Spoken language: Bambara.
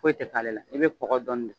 Foyi tɛ k'ale la, i bɛ kɔkɔ dɔɔni de